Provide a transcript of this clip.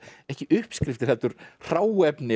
ekki uppskriftir heldur hráefni